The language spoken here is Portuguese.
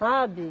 Sabe?